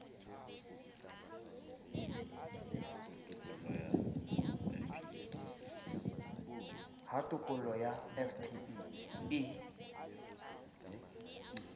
ha tokollo ya fpe e